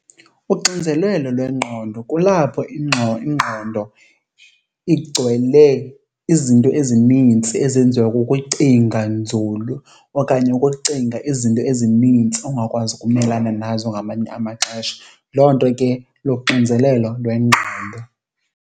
Uxinzelelo lwengqondo kulapho ingqondo igcwele izinto ezinintsi ezenziwa kukucinga nzulu okanye ukucinga izinto ezinintsi ongakwazi ukumelana nazo ngamanye amaxesha. Loo nto ke luxinzelelo lwengqondo.